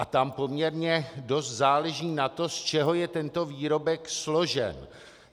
A tam poměrně dost záleží na tom, z čeho je tento výrobek složen.